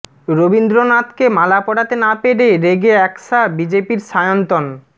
রবীন্দ্রনাথকে মালা পরাতে না পেরে রেগে একশা বিজেপির সায়ন্তন